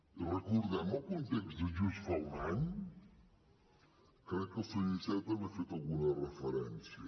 i recordem el context de just fa un any crec que el senyor iceta hi ha fet alguna referència